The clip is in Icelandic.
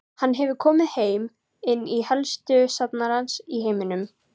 Hann hefur komið þeim inn á helstu safnara í heiminum.